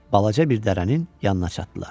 Balaca bir dərənin yanına çatdılar.